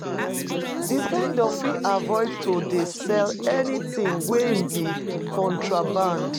Di vendor fit avoid to dey sell anything wey be contraband